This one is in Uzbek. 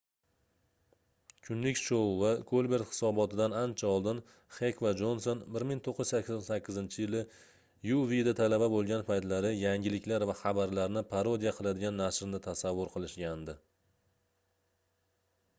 "kunlik shou va kolbert hisoboti"dan ancha oldin xek va jonson 1988-yili uwda talaba bo'lgan paytlari yangiliklar va xabarlarni parodiya qiladigan nashrni tasavvur qilishgandi